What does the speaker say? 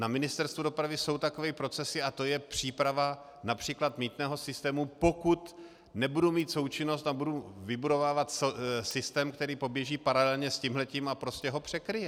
Na Ministerstvu dopravy jsou takové procesy, a to je příprava například mýtného systému, pokud nebudu mít součinnost a budu vybudovávat systém, který poběží paralelně s tímhletím a prostě ho překryje.